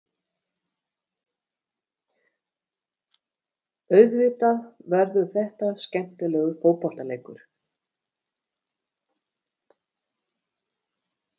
Auðvitað verður þetta skemmtilegur fótboltaleikur.